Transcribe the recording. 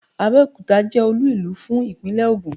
Abẹ́òkuta jẹ́ Olú ìlú fún ìpínlẹ̀ Ògùn